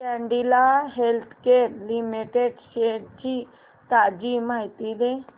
Cadila healthcare limited shares ची ताजी माहिती दे